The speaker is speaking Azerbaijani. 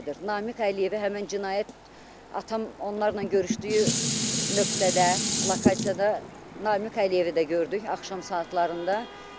Namiq Əliyevi həmən cinayət atam onlarla görüşdüyü nöqtədə, lokatsiyada Namiq Əliyevi də gördük axşam saatlarında.